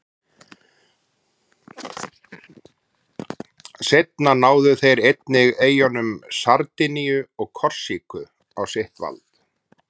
Seinna náðu þeir einnig eyjunum Sardiníu og Korsíku á sitt vald.